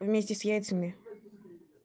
вместе с яйцами